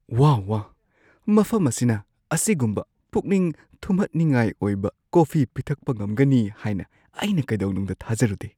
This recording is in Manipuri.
ꯋꯥꯍ ꯋꯥꯍ! ꯃꯐꯝ ꯑꯁꯤꯅ ꯑꯁꯤꯒꯨꯝꯕ ꯄꯨꯛꯅꯤꯡ ꯊꯨꯝꯍꯠꯅꯤꯡꯉꯥꯏ ꯑꯣꯏꯕ ꯀꯣꯐꯤ ꯄꯤꯊꯛꯄ ꯉꯝꯒꯅꯤ ꯍꯥꯏꯅ ꯑꯩꯅ ꯀꯩꯗꯧꯅꯨꯡꯗ ꯊꯥꯖꯔꯨꯗꯦ꯫